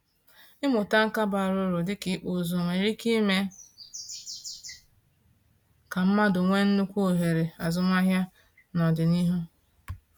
Ịmụta nka bara uru dịka ịkpụ ụzụ nwere ike ime ka mmadụ nwee nnukwu ohere azụmahịa n’ọdịnihu.